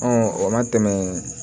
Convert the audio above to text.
o ma tɛmɛ